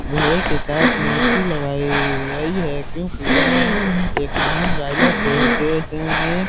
घोड़े के साथ मूर्ति लगाई गई है क्योंकि ये एक महान राजा थे जो जिन्होंने --